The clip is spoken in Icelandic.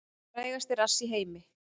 Frægasti rass í heimi